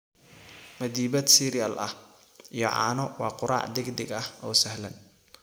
Madiibad cereal ah iyo caano waa quraac degdeg ah oo sahlan.